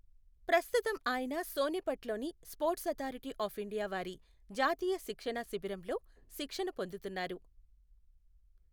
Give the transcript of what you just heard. ప్రస్తుతం ఆయన సోనేపట్ లోని స్పోర్ట్స్ అధారిటీ ఆఫ్ ఇండియా వారి జాతీయ శిక్షణా శిబిరంలో శిక్షణ పొందుతునన్నారు.